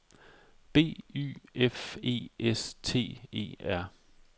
B Y F E S T E R